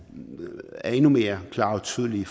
er endnu mere klar og tydelig